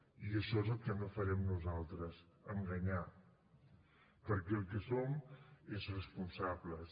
i això és el que no farem nosaltres enganyar perquè el que som és responsables